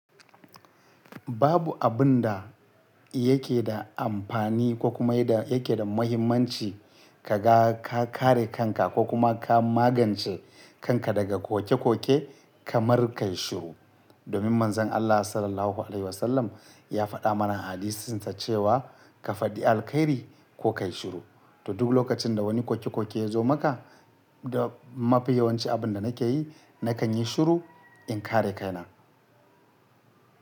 Babu abun da yake da amfani ko kuma yake da muhimmanci kaman ga ka kare kanka ko kuma ka magance kanka daga koke-koke kamar kai shiru. Domin Manzon Allah SAW ya faɗa mana a hadisinsa cewa kafaɗi alkhairi ko kai shiru. To duk lokacin da wani koke-koke ya zo maka da mafi yawanci abun da nake yi, nakan yi shiru in kare kaina.